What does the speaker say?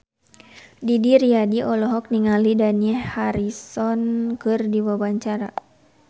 Didi Riyadi olohok ningali Dani Harrison keur diwawancara